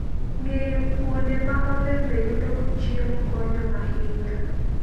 Ng'eyo kuonde ma olembe yudogo chiemo konyo ahinya.